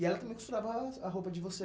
E ela também costurava as a roupa de vocês.